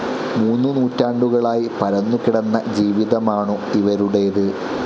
മൂന്നു നൂറ്റാണ്ടുകളിലായി പരന്നു കിടന്ന ജീവിതമാണു് ഇവരുടെത്.